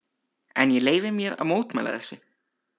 En ég leyfi mér að mótmæla þessu.